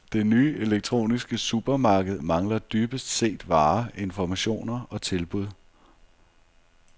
Det nye elektroniske supermarked mangler dybest set varer, informationer og tilbud.